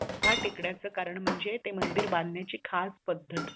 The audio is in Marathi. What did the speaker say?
सुधा टेकड्याच कारण म्हणजे ते मंदिर बांधण्याची खास पद्धत